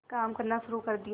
काम करना शुरू कर दिया